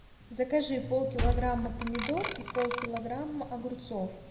закажи полкилограмма помидор и полкилограмма огурцов